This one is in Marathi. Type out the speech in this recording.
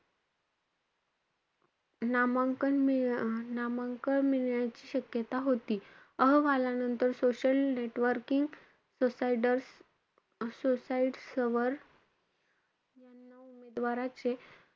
नामांकन मिळ~ नामांकन मिळण्याची शक्यता होती. अहवालानंतर social networking सोडाईड्स~ सोडाईड्स वर यांना उमेदवाराचे,